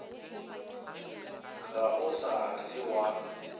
ga o sa le wa